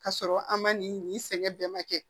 K'a sɔrɔ an ma nin nin sɛgɛn bɛɛ ma kɛ